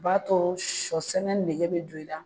O b'a to sɔ sɛnɛ nege bɛ don i la